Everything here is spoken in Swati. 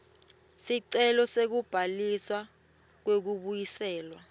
sicelo sekubhaliswa kwekubuyiselwa